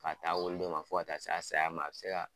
K'a t'a wolo don ma fo ka taa s'a saya ma a bɛ se ka